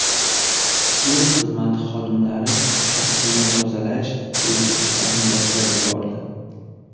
Yo‘l xizmati xodimlari shosseni tozalash bo‘yicha ishlarni boshlab yubordi.